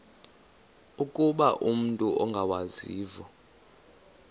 ukuba umut ongawazivo